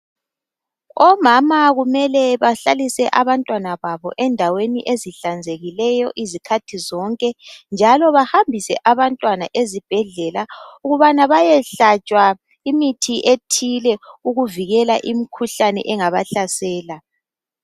Omama kumele bahlalise abantwana babo endaweni ezihlanzekileyo izikhathi zonke, njalo bahambise abantwana ezibhedlela, ukubana bayehlatshwa imithi ethile ukuvikela imikhuhlane engabahlasela.